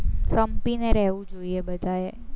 સંપીને રહેવું જોઈએ બધાએ